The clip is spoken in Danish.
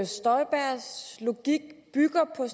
støjbergs logik bygger på